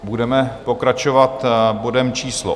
Budeme pokračovat bodem číslo